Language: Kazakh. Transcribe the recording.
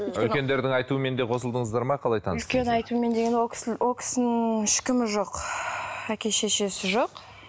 үлкендердің айтуымен де қосылдыңыздар ма қалай таныс айтумен дегенде ол ол кісінің ешкімі жоқ әке шешесі жоқ